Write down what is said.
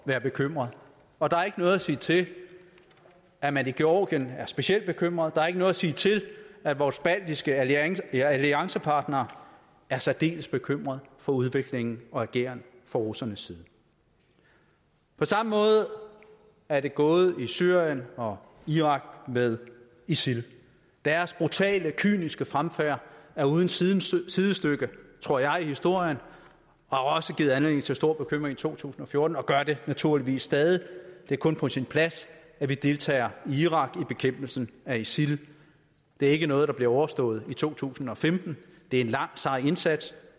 være bekymret og der er ikke noget at sige til at man i georgien er specielt bekymret der er ikke noget at sige til at vores baltiske alliancepartnere er særdeles bekymrede for udviklingen og ageren fra russernes side på samme måde er det gået i syrien og irak med isil deres brutale kyniske fremfærd er uden sidestykke tror jeg i historien og har også givet anledning til stor bekymring i to tusind og fjorten og gør det naturligvis stadig det er kun på sin plads at vi deltager i irak i bekæmpelsen af isil det er ikke noget der bliver overstået i to tusind og femten det er en lang sej indsats